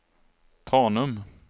Tanum